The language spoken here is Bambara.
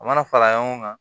A mana fara ɲɔgɔn kan